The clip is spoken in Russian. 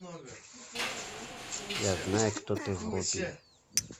я знаю кто ты вруби